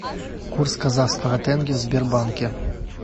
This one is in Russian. курс казахского тенге в сбербанке